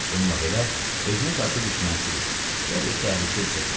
Bununla belə, özünə qarşı düşmənçilik ya bir təhlükə hiss etmədi.